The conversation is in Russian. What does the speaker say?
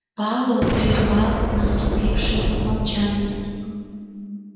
пауэлл прервал наступившее молчание